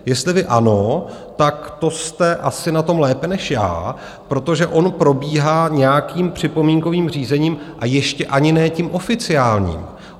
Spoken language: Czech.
Jestli vy ano, tak to jste asi na tom lépe než já, protože on probíhá nějakým připomínkovým řízením, a ještě ani ne tím oficiálním.